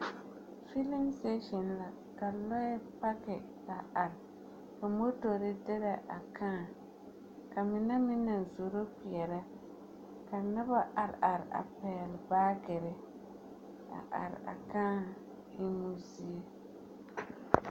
Feeleŋ sitaaseŋ la, ka lͻԑ paki a are ka motori derԑ a kãã ka mine meŋ naŋ zoro kpeԑrԑ, ka noba a are a pԑgele baagere a are a kãã emmo zie.